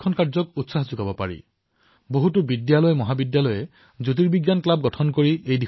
আৰু এনে বহু বিদ্যালয়মহাবিদ্যালয় আছে যিয়ে জ্যোতিৰ্বিজ্ঞানৰ ক্লাব গঠন কৰিছে